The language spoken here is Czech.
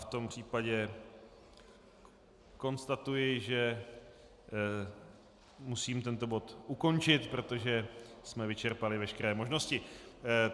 V tom případě konstatuji, že musím tento bod ukončit, protože jsme vyčerpali veškeré možnosti.